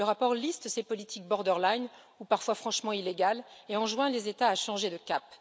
Le rapport liste ces politiques borderline, ou parfois franchement illégales, et enjoint les États à changer de cap.